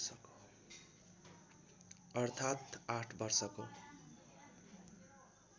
अर्थात् आठ वर्षको